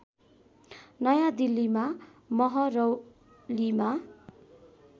नयाँ दिल्लीमा महरौलीमा